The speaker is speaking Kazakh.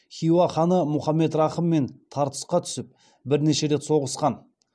хиуа ханы мұхаммед рахыммен тартысқа түсіп бірнеше рет соғысқан